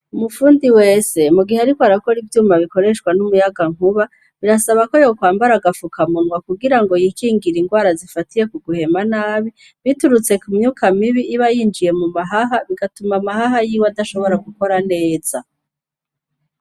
Umufundi wese, mu gihe ariko arakora ivyuma bikoreshwa n'umuyanankuba, birasaba ko yokwambara agafukamunwa kugira yikingire indwara zifatiye kuguhema nabi, biturutse ku myuka mibi iba yinjiye mu mahaha bigatuma amahaha yiwe adashobora gukora neza.